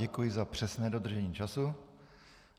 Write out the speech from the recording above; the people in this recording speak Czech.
Děkuji za přesné dodržení času.